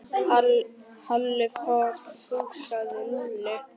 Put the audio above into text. Halli hor fussaði Lúlli.